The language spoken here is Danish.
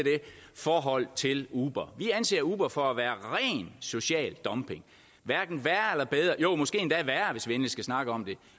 forhold til uber vi anser uber for at være ren social dumping måske endda værre hvis vi endelig skal snakke om det